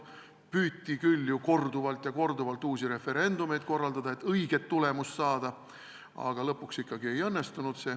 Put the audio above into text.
Püüti küll ju korduvalt uusi referendumeid korraldada, et "õiget" tulemust saada, aga lõpuks ikkagi see ei õnnestunud.